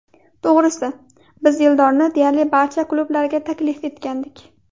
To‘g‘risi, biz Eldorni deyarli barcha klublarga taklif etgandik.